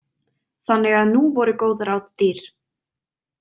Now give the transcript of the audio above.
Þannig að nú voru góð ráð dýr.